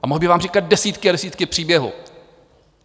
A mohl bych vám říkat desítky a desítky příběhů.